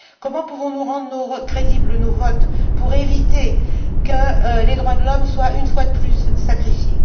Comment pouvons nous rendre crédibles nos votes pour éviter que les droits de l'homme soient une fois de plus sacrifiés?